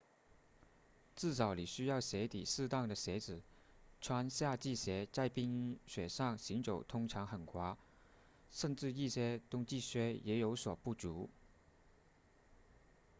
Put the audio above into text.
至少你需要鞋底适当的鞋子穿夏季鞋在冰雪上行走通常很滑甚至一些冬季靴也有所不足